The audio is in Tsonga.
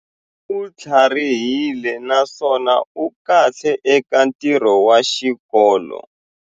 U tlharihile naswona u kahle eka ntirho wa xikolo.